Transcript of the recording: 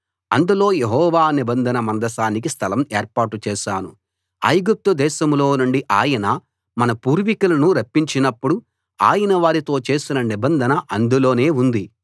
అందులో యెహోవా నిబంధన మందసానికి స్థలం ఏర్పాటు చేశాను ఐగుప్తు దేశంలో నుండి ఆయన మన పూర్వీకులను రప్పించినప్పుడు ఆయన వారితో చేసిన నిబంధన అందులోనే ఉంది